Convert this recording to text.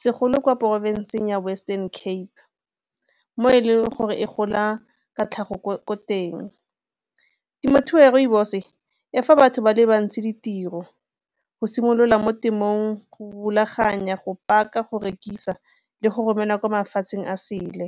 segolo kwa porofenseng ya Western Cape mo e leng gore e gola ka tlhago ko teng. Temothuo ya rooibos-o e fa batho ba le bantsi ditiro go simolola mo temothuong go rulaganya, go paka, go rekisa le go romela ko mafatsheng a sele.